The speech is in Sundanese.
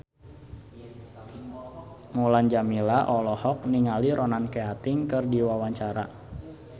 Mulan Jameela olohok ningali Ronan Keating keur diwawancara